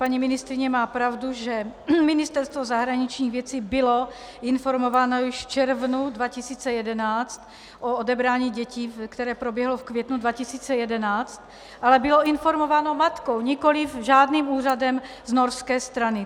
Paní ministryně má pravdu, že Ministerstvo zahraničních věcí bylo informováno již v červnu 2011 o odebrání dětí, které proběhlo v květnu 2011, ale bylo informováno matkou, nikoliv žádným úřadem za norské strany.